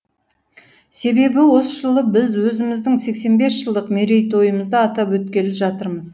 себебі осы жылы біз өзіміздің сексен бес жылдық мерейтойымызды атап өткелі жатырмыз